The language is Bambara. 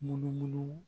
Munumunu